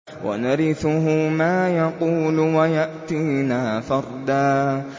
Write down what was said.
وَنَرِثُهُ مَا يَقُولُ وَيَأْتِينَا فَرْدًا